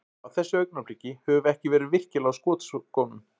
Á þessu augnabliki, höfum við ekki verið virkilega á skotskónum.